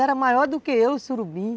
Era maior do que eu, o surubim.